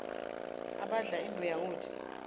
abadla imbuya ngothi